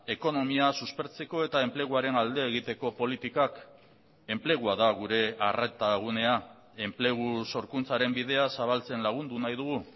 ekonomia suspertzeko eta enpleguaren alde egiteko politikak enplegua da gure arreta gunea enplegu sorkuntzaren bidea zabaltzen lagundu nahi dugu